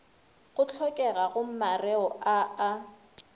go hlokegago mareo a a